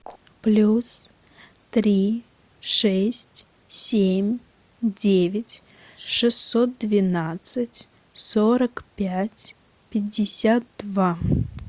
плюс три шесть семь девять шестьсот двенадцать сорок пять пятьдесят два